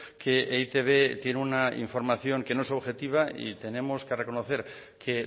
que e i te be tiene una información que no es objetiva y tenemos que reconocer que